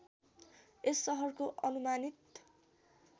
यस सहरको अनुमानित